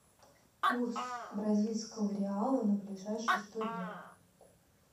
курс бразильского реала на ближайшие сто дня